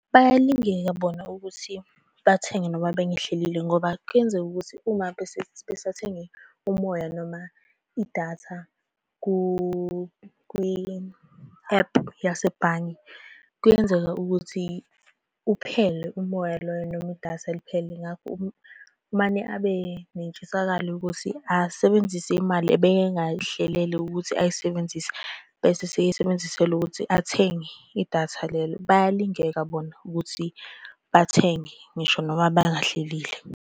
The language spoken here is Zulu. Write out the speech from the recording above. Bayalingeka bona ukuthi bathenge noma bengahlelile ngoba kuyenzeka ukuthi uma besathenge umoya noma idatha kwi-ephu yasebhange, kuyenzeka ukuthi uphele umoya loyo noma idatha liphele. Ngakho umane abe nentshisakalo ukuthi asebenzise imali ebengayihlele ukuthi ayisebenzise, bese eseyisebenzisela ukuthi athenge idatha lelo. Bayalingeka bona ukuthi bathenge ngisho noma bangahlelile.